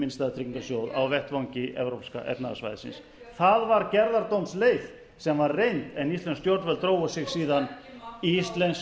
innstæðutryggingarsjóð á vettvangi evrópska efnahagssvæðisins það var gerðardómsleið sem var reynd en íslensk